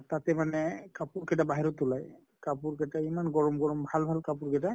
তাতে মানে কাপোৰ কেইটা বাহিৰত ওলাই, কাপোৰ কেটা ইমান গৰম গৰম ভাল ভাল কাপোৰ কেটা